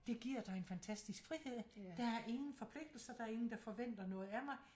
Det giver dig en fantastisk frihed der er ingen forpligtelser der er ingen der forventer noget af mig